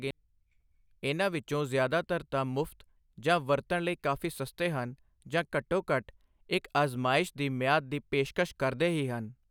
ਇਨ੍ਹਾਂ ਵਿੱਚੋਂ ਜ਼ਿਆਦਾਤਰ ਤਾਂ ਮੁਫ਼ਤ ਜਾਂ ਵਰਤਣ ਲਈ ਕਾਫ਼ੀ ਸਸਤੇ ਹਨ ਜਾਂ ਘੱਟੋ ਘੱਟ ਇੱਕ ਅਜ਼ਮਾਇਸ਼ ਦੀ ਮਿਆਦ ਦੀ ਪੇਸ਼ਕਸ਼ ਕਰਦੇ ਹੀ ਹਨ।